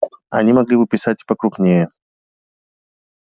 они могли бы писать и покрупнее